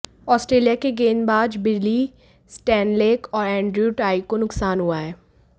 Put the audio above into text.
Australia के गेंदबाज Billy Stanlake और एंड्रयू टाई को नुकसान हुआ है